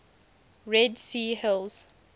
red sea hills